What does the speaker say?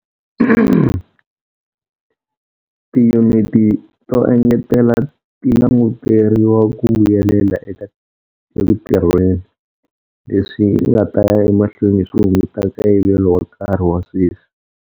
Tiyuniti to engetela ti languteriwa ku vuyelela eku tirheni, leswi nga ta ya emahlweni swi hunguta nkayivelo wa nkarhi wa sweswi.